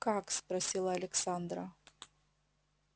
как спросила александра